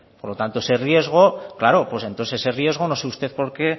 por lo tanto no sé usted